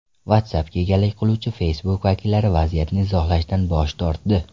WhatsApp’ga egalik qiluvchi Facebook vakillari vaziyatni izohlashdan bosh tortdi.